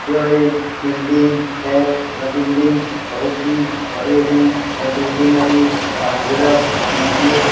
यह एक बिल्डिंग है। यह बिल्डिंग बहुति ही बड़े है। यह बिल्डिंग अभी करजराथ में है।